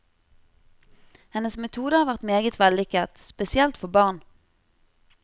Hennes metode har vært meget vellykket, spesielt for barn.